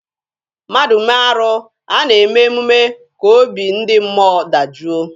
Mmadụ mee arụ, a na-eme emume ka obi ndị mmụọ dajụọ.